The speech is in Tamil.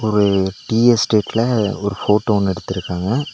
ஒரு டீ எஸ்டேட்ல ஒரு ஃபோட்டோ ஒன்னு எடுத்துருகாங்க.